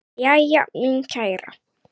Jæja, mín kæra.